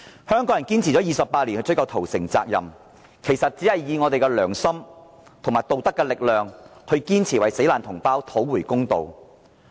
香港人堅持了28年追究屠城責任，本着良心和道德力量堅持為死難同胞討回公道。